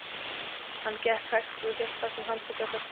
Hann gekk hægt og hélt fast um handfangið á töskunni.